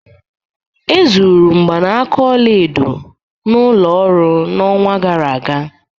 E zuru mgbanaka ọla edo n'ụlọ ọrụ n'ọnwa gara aga